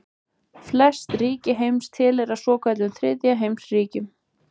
Flest ríki heims tilheyra svokölluðum þriðja heims ríkjum.